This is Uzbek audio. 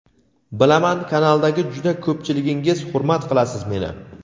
Bilaman kanaldagi juda ko‘pchiligingiz hurmat qilasiz meni.